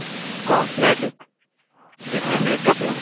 Cosmetic એટલે makeup નું